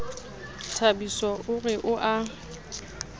thabiso o re o a